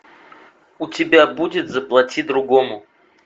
у тебя будет заплати другому